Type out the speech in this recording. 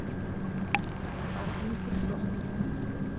Þetta er bara ungur flokkur.